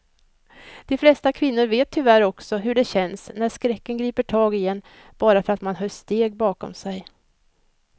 De flesta kvinnor vet tyvärr också hur det känns när skräcken griper tag i en bara för att man hör steg bakom sig.